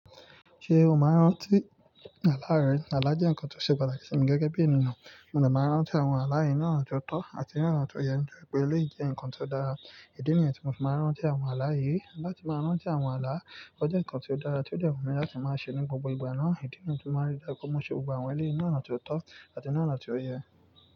Ṣé o máa ń ráńtí àlá rẹ? Àlá jẹ́ ǹkan tó ṣe pàtàkì sí mi gẹ́gẹ́ bí ènìyàn. Mo de maa ń ráńtí àwọn àlá yìí ní ọ̀nà tó tọ́ àti ní ọ̀nà tó yẹ nípa bí eleyi je ǹkan tó dára. Ìdí nìyẹn tí mo fi máa ń ráńtí àwọn àlá yìí. Láti máa rántí àwọn àlá, ó jẹ́ ǹkan ti odára tí ó de wun mi láti máa ṣe ní gbogbo ìgbà náà. Ìdí nì yii, tí mo máa ń rí dári daju mọ́ ṣe gbogbo àwọn eleyii ní ọ̀nà tó tọ́ àti ní ọ̀nà tó yẹ.